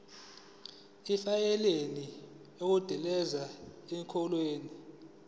ifayini okungenzeka ikhokhwe